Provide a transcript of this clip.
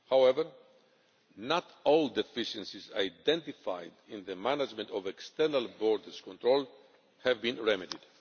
However, not all deficiencies identified in the management of external borders control have been remedied.